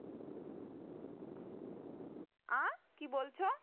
আ কি বলছো